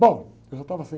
Bom, eu já estava saindo.